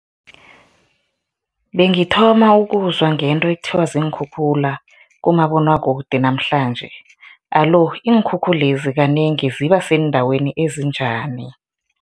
Bengithoma ukuzwa ngento ekuthiwa ziinkhukhula kumabonwakude namhlanje, alo iinkhukhulezi kanengi ziba seendaweni ezinjani?